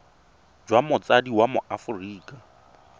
jwa motsadi wa mo aforika